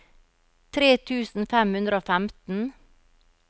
tre tusen fem hundre og femten